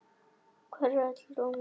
Hvar var öll rómantíkin?